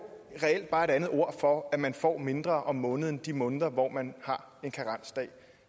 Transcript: reelt bare et andet ord for at man får mindre om måneden de måneder hvor man har en karensdag